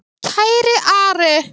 Kæri Ari.